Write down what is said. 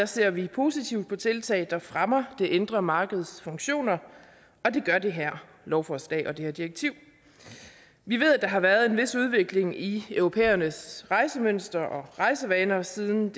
ser vi positivt på tiltag der fremmer det indre markeds funktioner og det gør det her lovforslag og det her direktiv vi ved at der har været en vis udvikling i europæernes rejsemønstre og rejsevaner siden